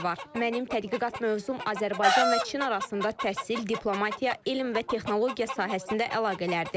Mənim tədqiqat mövzum Azərbaycan və Çin arasında təhsil, diplomatiya, elm və texnologiya sahəsində əlaqələrdir.